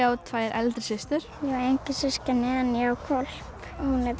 á tvær eldri systur ég á engin systkini en ég á hvolp hún heitir Mandla